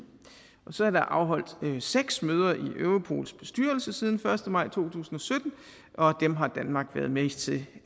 så er der afholdt seks møder i europols bestyrelse siden den første maj to tusind og sytten dem har danmark været med til